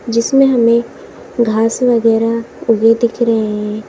जिसमे हमें घास वगैरह उगे दिख रहे है।